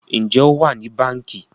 Njé o wá ní Bánkì?